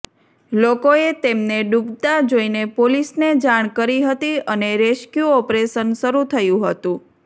લોકોએ તેમને ડૂબતાં જોઈને પોલીસને જાણ કરી હતી અને રેસ્ક્યુ ઑપરેશન શરૂ થયું હતું